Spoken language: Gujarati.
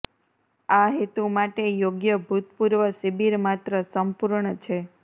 આ હેતુ માટે યોગ્ય ભૂતપૂર્વ શિબિર માત્ર સંપૂર્ણ છે